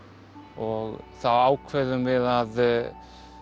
og þá ákveðum við að